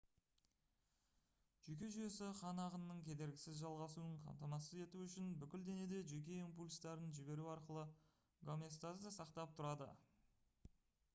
жүйке жүйесі қан ағынының кедергісіз жалғасуын қамтамасыз ету үшін бүкіл денеде жүйке импульстарын жіберу арқылы гомеостазды сақтап тұрады